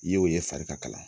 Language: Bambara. I y'o ye fari ka kalan